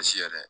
Sisɛ yɛrɛ